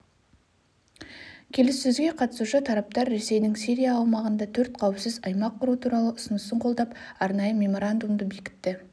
келіссөзге қатысушы тараптар ресейдің сирия аумағында төрт қауіпсіз аймақ құру туралы ұсынысын қолдап арнайы меморандумды бекітті